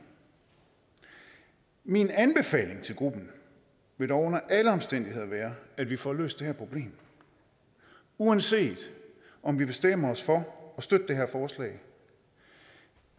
min anbefaling til gruppen vil dog under alle omstændigheder være at vi får løst det her problem uanset om vi bestemmer os for at støtte det her forslag